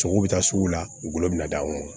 Sogow bi taa sugu la u golo bɛna d'anw ma